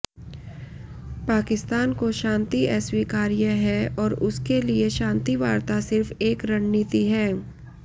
पाकिस्तान को शांति अस्वीकार्य है और उसके लिए शांति वार्ता सिर्फ एक रणनीति है